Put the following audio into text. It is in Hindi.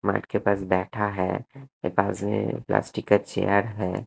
मैट के पास बैठा है उसके पास में प्लास्टिक का चेयर है।